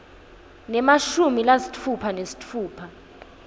nemashumi lasitfupha nesitfupha